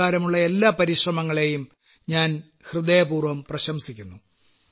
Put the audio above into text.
ഇപ്രകാരമുള്ള എല്ലാ പരിശ്രമങ്ങളെയും ഞാൻ ഹൃദയപൂർവ്വം പ്രശംസിക്കുന്നു